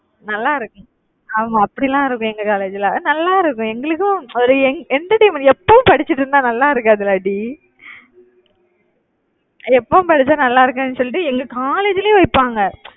நல்லா இருக்கும். ஆமா அப்படிலாம் இருக்கும் எங்க college ல நல்லா இருக்கும் எங்களுக்கும் ஒரு en~ entertainment எப்பவும் படிச்சுட்டு இருந்தா நல்லா இருக்காதுல்ல டி, எப்பவும் படிச்சா நல்லா இருக்காதுன்னு சொல்லிட்டு எங்க college லேயே வைப்பாங்க.